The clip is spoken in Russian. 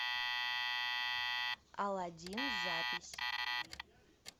аладдин запись